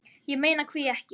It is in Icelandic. Ég meina hví ekki?